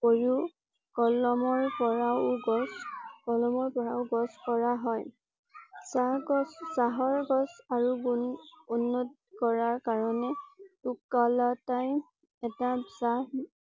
কৈও কলমৰ পৰা ও গছ কলমৰ পৰা ও গছ কৰা হয়। চাহ গছ চহৰ গছ আৰু গুণ উন্নত কৰাৰ কাৰণে এটা চাহ